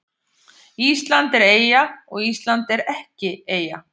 Ísland er eyja og Ísland er ekki eyja